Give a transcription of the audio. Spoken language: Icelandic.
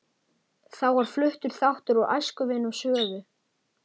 Þá var fluttur þáttur úr Æskuvinum Svövu